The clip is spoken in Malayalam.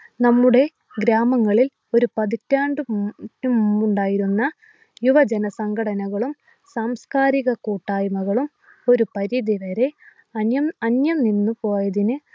നമ്മുടെ ഗ്രാമങ്ങളിൽ ഒരു പതിറ്റാണ്ട് മുമ്പുണ്ടായിരുന്ന യുവജന സംഘടനകളും സാംസ്കാരിക കൂട്ടായ്മകളും ഒരു പരിധിവരെ അന്യനിന്നു പോയതിന്